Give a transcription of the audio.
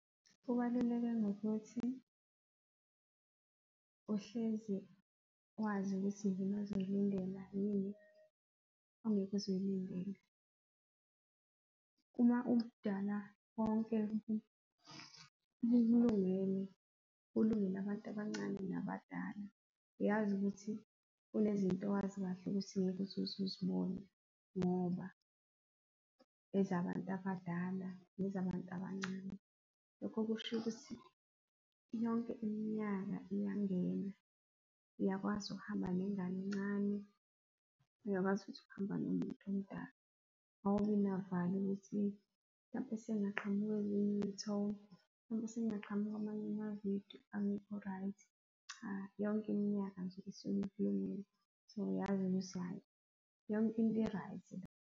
Kubaluleke ngokuthi uhlezi wazi ukuthi yini azoyilindela yini ongeke uze uyilindele. Uma konke kukulungele, kulungele abantu abancane nabadala, uyazi ukuthi kunezinto owazi kahle ukuthi ngeke uze uzibone ngoba ezabantu abadala nezabantu abancane. Lokho kusho ukuthi yonke iminyaka iyangena, uyakwazi ukuhamba nengane encane, uyakwazi futhi ukuhamba nomuntu omdala. Awubi navalo ukuthi mhlampe sekungaqhamuka ezinye izithombe, mhlampe sekungaqhamuka amanye ama-video angekho right? Cha, yonke iminyaka nje isuke . So, uyazi ukuthi hhayi yonke into i-right la.